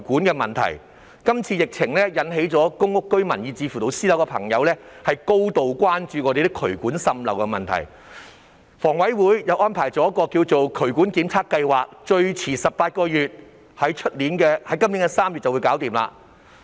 這次疫情引起公屋居民以至私人樓宇住戶高度關注渠管滲漏的問題，房委會推行了渠管檢查計劃，預計18個月內完成，即最遲於今年3月完成計劃。